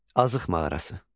Azıq mağarası.